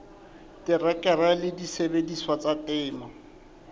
terekere le disebediswa tsa temo